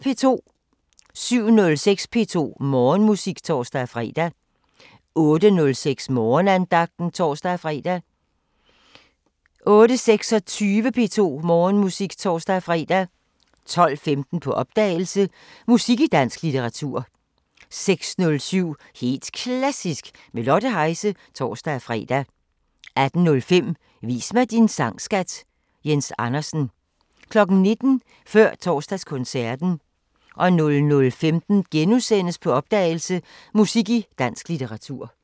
07:06: P2 Morgenmusik (tor-fre) 08:06: Morgenandagten (tor-fre) 08:26: P2 Morgenmusik (tor-fre) 12:15: På opdagelse – Musik i dansk litteratur 16:07: Helt Klassisk med Lotte Heise (tor-fre) 18:05: Vis mig din sang, skat! – Jens Andersen 19:00: Før Torsdagskoncerten 00:15: På opdagelse – Musik i dansk litteratur *